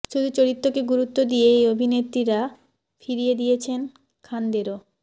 শুধু চরিত্রকে গুরুত্ব দিয়ে এই অভিনেত্রীরা ফিরিয়ে দিয়েছেন খানদেরও